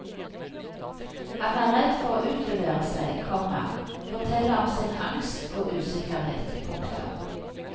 Han er redd for å utlevere seg, komma fortelle om sin angst og usikkerhet. punktum